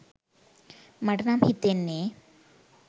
මට නම් හිතෙන්නෙ